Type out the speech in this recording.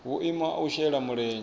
vhuimo ha u shela mulenzhe